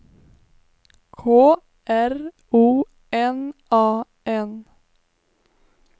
K R O N A N